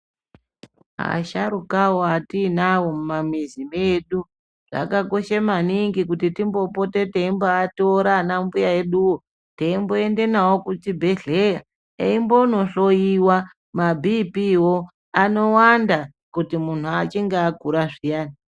Asharukawo atiinawo mumamizi medu, zvakakoshe maningi kuti timbopote teimboatora anambuya eduwo, teimboende nawo kuchibhedhleya, eimbonohloiwa mabhiiphiiwo anowanda kuti munhu achinge akura zviyani.